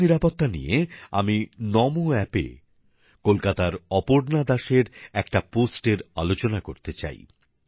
পথ নিরাপত্তা নিয়ে আমি নমো অ্যাপে কলকাতার অপর্না দাসের একটা পোস্টের আলোচনা করতে চাই